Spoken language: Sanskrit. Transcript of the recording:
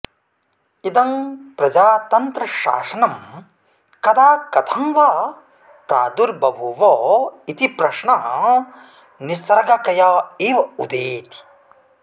इदं प्रजातन्त्रशासनं कदा कथं वा प्रादुर्बभुव इति प्रश्नः निसर्गकया एव उदेति